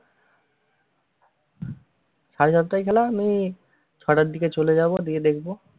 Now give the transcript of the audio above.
সাড়ে সাতটায় খেলা, আমি ছয়টার দিকে চলে যাবো, গিয়ে দেখবো।